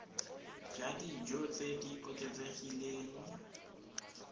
ja dijo tse di oketsegileng